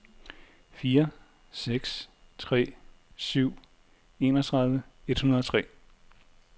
fire seks tre syv enogtredive et hundrede og tre